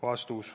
" Vastus.